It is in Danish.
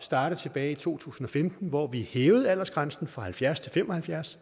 starte tilbage i to tusind og femten hvor vi hævede aldersgrænsen fra halvfjerds til fem og halvfjerds